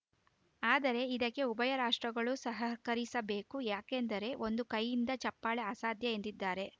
ಆದರೆ ಇದಕ್ಕೆ ಉಭಯ ರಾಷ್ಟ್ರಗಳು ಸಹಕರಿಸಬೇಕು ಯಾಕೆಂದರೆ ಒಂದು ಕೈಯಿಂದ ಚಪ್ಪಾಳೆ ಅಸಾಧ್ಯ ಎಂದಿದ್ದಾರೆ